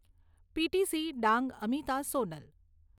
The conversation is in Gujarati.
પીટીસી ડાંગ, અમિતા, સોનલ